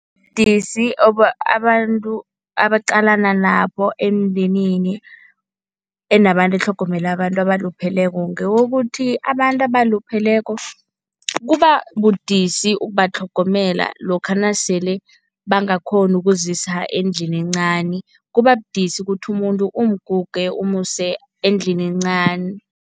Ubudisi abantu abaqalana nabo emndenini enabantu etlhogomela abantu abalupheleko ngewokuthi abantu abalupheleko kubabudisi ukubatlhogomela lokha nasele bangakghoni ukuzisa endlini encani, kubabudisi ukuthi umuntu umguge umuse endlini encani.